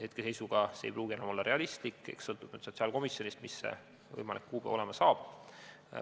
Hetkeseisuga ei pruugi see enam olla realistlik, ehk sõltub sotsiaalkomisjonist, mis see võimalik kuupäev olema saab.